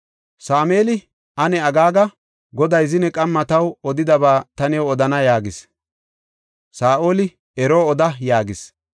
Sameeli, “Ane aggaaga; Goday zine qamma taw odidaba ta new odana” yaagis. Saa7oli, “Ero oda” yaagis.